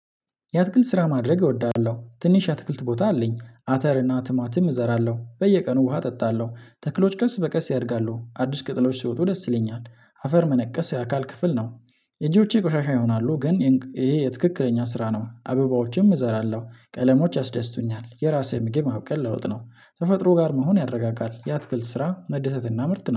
የአትክልት ስራ ማድረግ እወዳለሁ። ትንሽ የአትክልት ቦታ አለኝ አተር እና ቲማቲም እዘራለሁ። በየቀኑ ውሃ እጠጣለሁ። ተክሎች ቀስ በቀስ ያድጋሉ አዲስ ቅጥሎች ሲውጡ ደስ ይለኛል። አፈር መነቀስ የአካል ክፍል ነው። እጆቼ ቆሻሻ ይሆናሉ ግን ይሄ የትክክለኛ ስራ ነው አበባዎችም እዘራለሁ ቀለሞች ያስደስቱኛል የራሴ ምግብ ማብቀል ለውጥ ነው። ተፈጥሮ ጋር መሆን ያደረጋጋል የአትክልት ስራ መደሰትና ምርጥ